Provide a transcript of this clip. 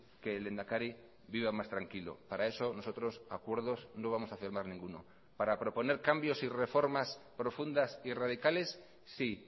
que el lehendakari viva más tranquilo para eso nosotros acuerdos no vamos a firmar ninguno para proponer cambios y reformas profundas y radicales sí